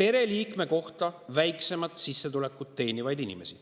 pereliikme kohta väiksemat sissetulekut teenivaid.